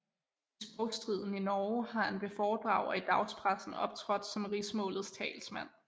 I sprogstriden i Norge har han ved foredrag og i dagspressen optrådt som rigsmålets talsmand